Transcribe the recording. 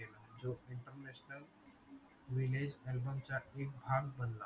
album चा एक भाग बनला